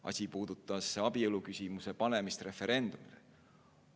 Asi puudutas abieluküsimuse referendumile panemist.